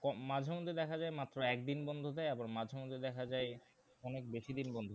মাঝে মধ্যে দেখা যায় মাত্র একদিন বন্ধ দেয় আবার মাঝে মধ্যে দেখা যায় অনেক বেশি দিন বন্ধ